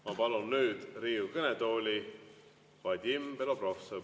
Ma palun nüüd Riigikogu kõnetooli Vadim Belobrovtsevi.